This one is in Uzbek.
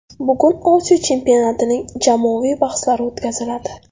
Bugun Osiyo chempionatining jamoaviy bahslari o‘tkaziladi.